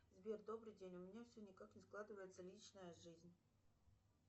сбер добрый день у меня все никак не складывается личная жизнь